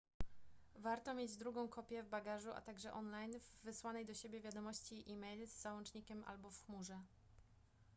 warto mieć drugą kopię w bagażu a także online w wysłanej do siebie wiadomości e-mail z załącznikiem albo w chmurze